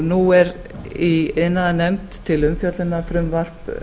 nú er í iðnaðarnefnd til umfjöllunar frumvarp